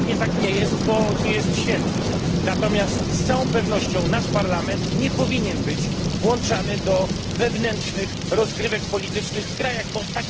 Pewnie tak nie jest, bo nie jest święty, natomiast z całą pewnością nasz parlament nie powinien być włączany do wewnętrznych rozgrywek politycznych w poszczególnych krajach.